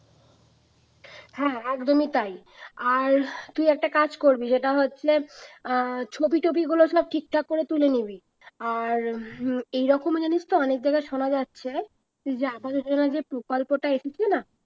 হ্যাঁ একদমই তাই আর তুই একটা কাজ করবি যেটা হচ্ছে আহ ছবি টবি গুলো সব ঠিকঠাক করে তুলে নিবি আর হম এইরকম জানিস তো অনেক জায়গায় শোনা যাচ্ছে যে প্রকল্পটা এসেছে না